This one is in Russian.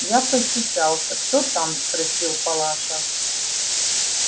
я постучался кто там спросила палаша